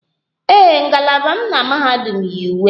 Ee, ngalaba m na mahadum yi uwe